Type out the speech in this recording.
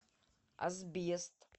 асбест